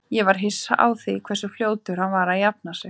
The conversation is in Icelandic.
Ég var hissa á því hversu fljótur hann var að jafna sig.